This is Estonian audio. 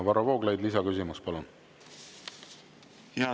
Varro Vooglaid, lisaküsimus, palun!